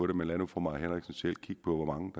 det men lad nu fru mai henriksen selv kigge på hvor mange